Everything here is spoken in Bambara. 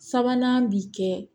Sabanan bi kɛ